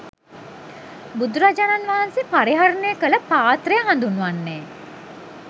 බුදුරජාණන් වහන්සේ පරිහරණය කළ ප්‍රාත්‍රය හඳුන්වන්නේ